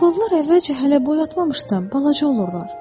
Baobablar əvvəlcə hələ boy atmamışdan balaca olurlar.